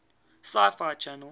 sci fi channel